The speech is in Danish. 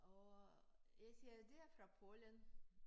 Og jeg siger de er fra Polen